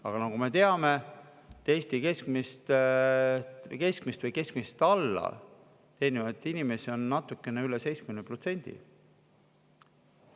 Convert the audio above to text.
Aga nagu me teame, teenib Eesti keskmist või alla keskmise natukene üle 70% inimestest.